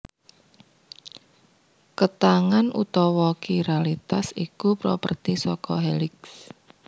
Ketangan utawa Kiralitas iku properti saka Heliks